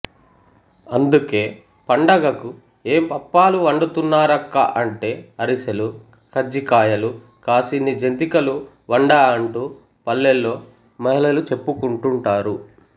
అందుకే పండగకు ఏం పప్పలు వండుతున్నారక్కా అంటే అరిసెలు కజ్జికాయలు కాసిని జంతికలు వండా అంటూ పల్లెల్లో మహిళలు చెప్పుకుంటుంటారు